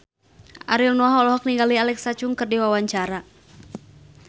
Ariel Noah olohok ningali Alexa Chung keur diwawancara